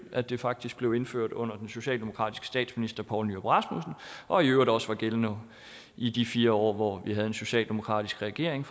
at det faktisk blev indført under den socialdemokratiske statsminister poul nyrup rasmussen og i øvrigt også var gældende i de fire år hvor vi havde en socialdemokratisk regering